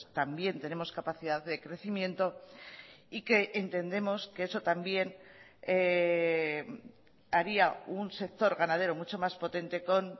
también tenemos capacidad de crecimiento y que entendemos que eso también haría un sector ganadero mucho más potente con